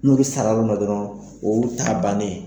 N'u bɛ sara ma dɔrɔn o y'u ta bannen